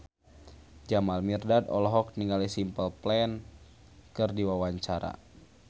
Jamal Mirdad olohok ningali Simple Plan keur diwawancara